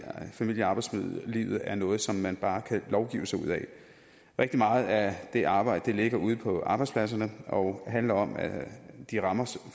familie og arbejdslivet er noget som man bare kan lovgive sig ud af rigtig meget af det arbejde ligger ude på arbejdspladserne og handler om de rammer